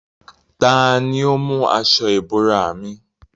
Tani ó mú aṣọ ìbora mi?